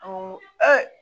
Awɔ